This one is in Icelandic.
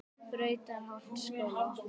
Brautarholtsskóla